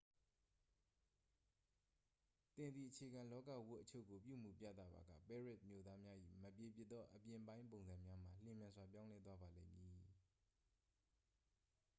သင်သည် အခြေခံလောကဝတ်အချို့ကို ပြုမူပြသပါက ပဲရစ်မြို့သားများ၏မပြေပြစ်သောအပြင်ပိုင်းပုံစံများမှာ လျင်မြန်စွာပြောင်းလဲသွားပါလိမ့်မည်